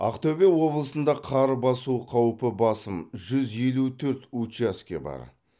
ақтөбе облысында қар басу қаупі басым жүз елу төрт учаске бар